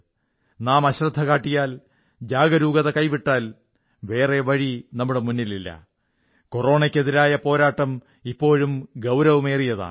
നാം അശ്രദ്ധ കാട്ടരുത് ജാഗരൂകത കൈവിടരുത് കോറോണയ്ക്കെതിരായ പോരാട്ടം ഇപ്പോഴും ഗൌരവമേറിയതാണ്